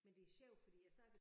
Men det sjov fordi jeg snakkede